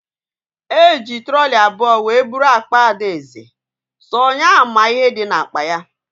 Eji trọlị abụọ wee bụrụ akpa Adaeze, sọ nya ma ihe dị na akpa ya